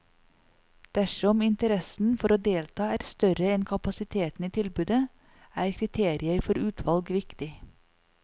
Dersom interessen for å delta er større enn kapasiteten i tilbudet, er kriterier for utvalg viktig.